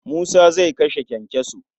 Musa zai kashe kyankyaso.